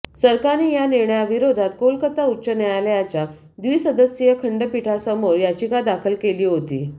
सरकारने या निर्णयाविरोधात कोलकाता उच्च न्यायालयाच्या द्विसदस्यीय खंडपीठासमोर याचिका दाखल केली होती